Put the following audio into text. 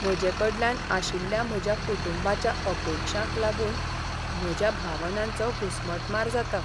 म्हजेकडल्यान आशिल्ल्या म्हज्या कुटुंबाच्या अपेक्षांक लागून म्हज्या भावनांचो घुसमटमार जाता .